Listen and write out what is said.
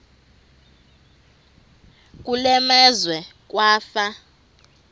kule meazwe kwafa